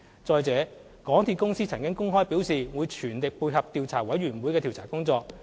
再者，港鐵公司曾公開表示會全力配合調查委員會的調查工作。